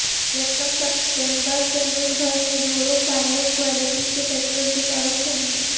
یکم ستمبر سے ملک بھر میں یورو فائیو کوالٹی کے پٹرول کی فروخت ہوگی